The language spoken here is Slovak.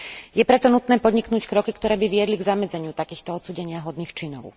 Je preto nutné podniknúť kroky, ktoré by viedli k zamedzeniu takýmto odsúdeniahodným činom.